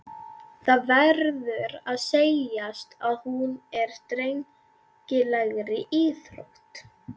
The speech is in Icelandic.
Það verður að segjast að hún er drengilegri íþrótt.